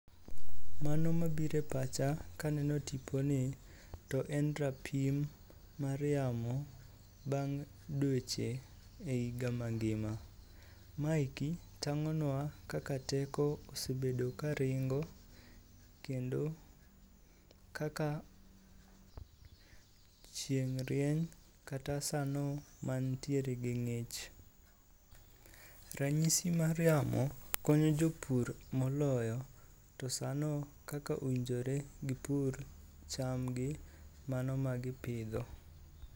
Mano mabiro e pacha kaneno tiponi to en rapim mar yamo bang' dweche e higa mangima. Maeki tang'onwa kaka teko osebedo karingo kendo kaka chieng' rieny kata sano mantiere gi ng'ich. Rang'isi mar yamo konyo jopur moloyo to sano kaka owinjore gipur chamgi mano ma gi pidho.